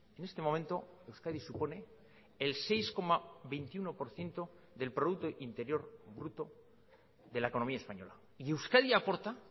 en este momento euskadi supone el seis coma veintiuno por ciento del producto interior bruto de la economía española y euskadi aporta